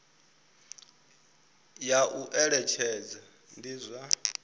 ya u eletshedza ndi zwa